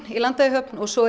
í Landeyjahöfn og svo